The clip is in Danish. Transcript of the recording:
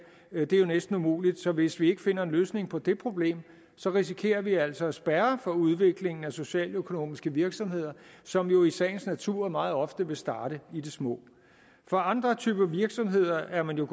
er jo næsten umuligt så hvis vi ikke finder en løsning på det problem risikerer vi altså at spærre for udviklingen af socialøkonomiske virksomheder som jo i sagens natur meget ofte vil starte i det små for andre typer virksomheder er man jo